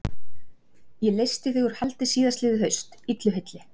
Ég leysti þig úr haldi síðastliðið haust, illu heilli.